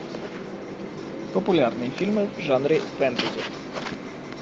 популярные фильмы в жанре фэнтези